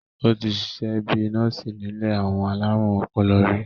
ó ti sisẹ́ bíi nọ́ọ̀sì nílé àwọn alárùn ọpọlọ rí